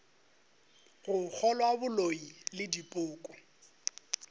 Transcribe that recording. go kgolwa boloi le dipoko